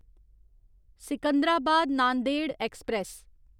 Secunderabad Nanded express